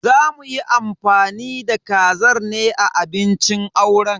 Za muyi amfani da kazar ne a abincin auren.